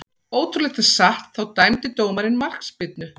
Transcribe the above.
Ótrúlegt en satt, þá dæmdi dómarinn markspyrnu.